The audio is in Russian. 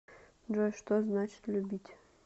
джой что значит любить